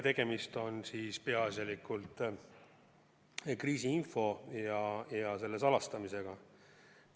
Tegemist on peaasjalikult kriisiinfo ja selle salastamisega.